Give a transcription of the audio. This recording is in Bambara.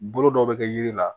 Bolo dɔw bɛ kɛ yiri la